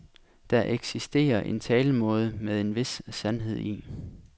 Der eksisterer en talemåde med en vis sandhed i.